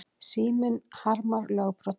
Síminn harmar lögbrot